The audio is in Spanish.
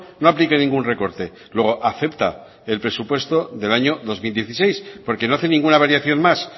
no aplique ningún recorte luego acepta el presupuesto del año dos mil dieciséis porque no hace ninguna variación más